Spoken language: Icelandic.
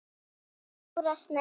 Dóra Snædís.